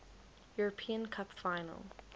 european cup final